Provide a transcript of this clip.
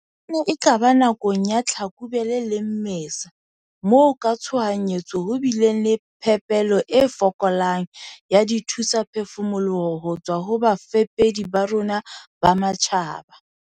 "E ne e ka ba nakong ya Tlhakubele le Mmesa moo ka tshohanyetso ho bileng le phepelo e fokolang ya dithusaphefumoloho ho tswa ho bafepedi ba rona ba matjhaba."